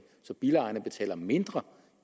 så bilejerne at betale mindre